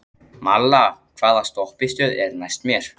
Malla, hvaða stoppistöð er næst mér?